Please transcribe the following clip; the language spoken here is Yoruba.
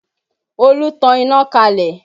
Olú tan iná kalẹ̀